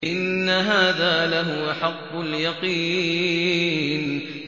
إِنَّ هَٰذَا لَهُوَ حَقُّ الْيَقِينِ